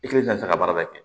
I ki ka se ka baara kɛ